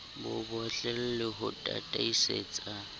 bo bottle le ho tataisetsa